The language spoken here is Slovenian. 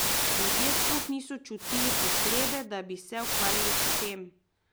Ljudje sploh niso čutili potrebe, da bi se ukvarjali s tem.